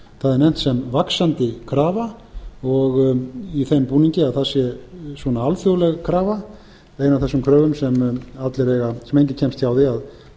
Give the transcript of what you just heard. það er nefnt sem vaxandi krafa og í þeim búningi að það sé svona alþjóðleg krafa ein af þessum kröfum sem enginn kemst hjá að